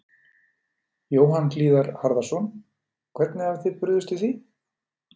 Jóhann Hlíðar Harðarson: Og hvernig hafið þið brugðist við því?